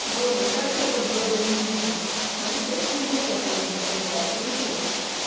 боже как это было эпично ну естественно мы все помним что мир открытый